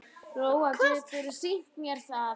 Lóa: Geturðu sýnt mér það?